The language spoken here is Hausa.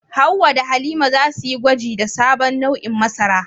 Hawwa da Halima za su yi gwaji da sabon nau'in masara.